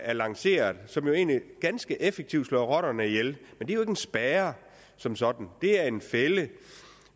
er lanceret og som jo egentlig ganske effektivt slår rotterne ihjel men det er en spærre som sådan det er en fælde